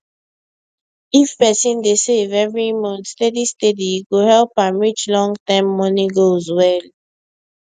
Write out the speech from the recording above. if person dey save every month steady steady e go help am reach longterm money goals well